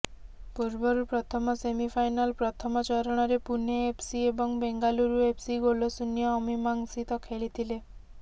ପୂର୍ବରୁ ପ୍ରଥମ ସେମିଫାଇନାଲ୍ ପ୍ରଥମ ଚରଣରେ ପୁନେ ଏଫ୍ସି ଏବଂ ବେଙ୍ଗାଲୁରୁ ଏଫ୍ସି ଗୋଲଶୂନ୍ୟ ଅମୀମାଂସିତ ଖେଳିଥିଲେ